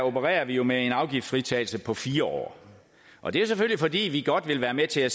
opererer vi jo med en afgiftsfritagelse på fire år og det er selvfølgelig fordi vi godt vil være med til at